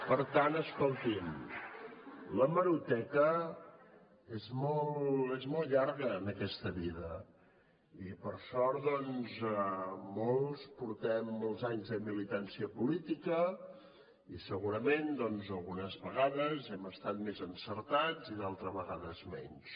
per tant escolti’m l’hemeroteca és molt llarga en aquesta vida i per sort doncs molts portem molts anys de militància política i segurament algunes vegades hem estat més encertats i d’altres vegades menys